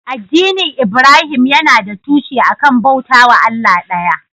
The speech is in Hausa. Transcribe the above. Addinin Ibrahim yana da tushe a kan bauta wa Allah ɗaya.